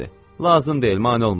Lazım deyil mane olma.